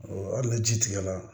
hali na ji tigɛ la